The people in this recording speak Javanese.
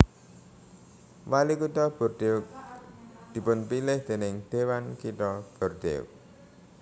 Walikutha Bordeaux dipunpilih déning Dhéwan Kitha Bordeaux